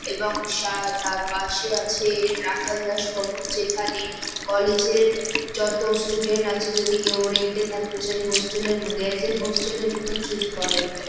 এবং সা তার পাশে আছে রাখলদাস ভবন যেখানে কলেজ এর যত স্টুডেন্ট আছে। যদি কেউ রেন্ট - এ থাকতে চাই হোস্টেল এর মধ্যে এস আ হোস্টেল এর মতো ট্রিট করে এইটাই ।